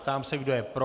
Ptám se, kdo je pro.